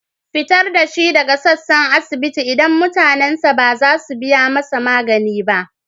Fitar da shi daga sassan asibiti, idan mutanensa ba za su biya masa magani ba.